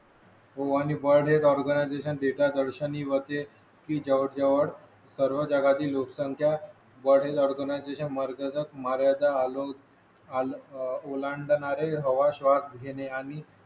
world health organisation data दर्शनी वर ते जवळ जवळ सर्व जगातील लोकसंख्या वर्ल्ड हेल्थ ऑर्गनायझेशन मार्गाचा आलोक ओलांडणारे हवा श्वास घेणे आणि